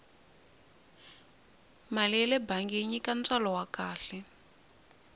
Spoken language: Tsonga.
mali yale bangi yi nyika ntswalo wa kahle